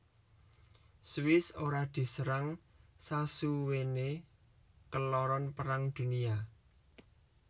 Swiss ora diserang sasuwene keloron Perang Dunia